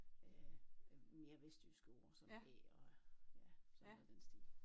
Øh mere vestjyske ord æ og sådan noget i den stil